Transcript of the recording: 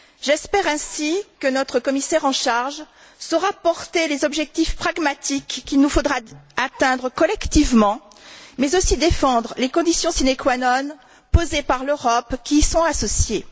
J'espère ainsi que notre commissaire en charge saura porter les objectifs pragmatiques qu'il nous faudra atteindre collectivement, mais aussi défendre les conditions sine qua non posées par l'Europe qui y sont associées.